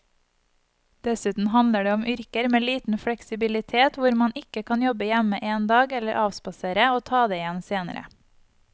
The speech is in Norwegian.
Dessuten handler det om yrker med liten fleksibilitet hvor man ikke kan jobbe hjemme en dag eller avspasere og ta det igjen senere.